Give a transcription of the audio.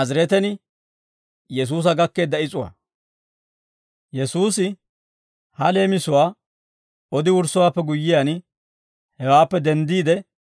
Yesuusi ha leemisatuwaa odi wurssowaappe guyyiyaan, hewaappe denddiide,